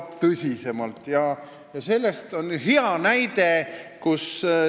Toon selle kohta hea näite.